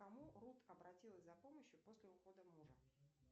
к кому рут обратилась за помощью после ухода мужа